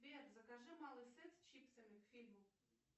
сбер закажи малый сет с чипсами к фильму